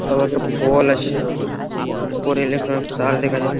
আবার একটা পল আছে। উপরে ইলেক্ট্রনিক তার দেখা যাচ্ছ--